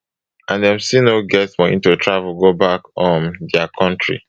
and dem still no get money to travel go back um dia kontri